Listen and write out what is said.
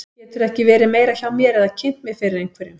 Geturðu ekki verið meira hjá mér eða kynnt mig fyrir einhverjum.